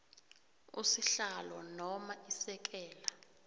usihlalo noma isekela